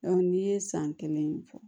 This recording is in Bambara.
n'i ye san kelen fɔ